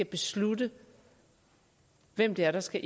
beslutte hvem der der skal